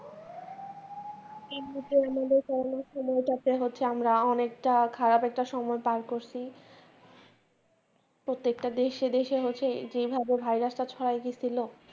এই মুহূর্তে আমাদের আমরা অনেকটা খারপ একটা সময় পার করসি, প্রত্যেকটা দেশ সেদেশে হচ্ছে যেই ভাবে ভাইরাস ছড়াই দিয়ছিল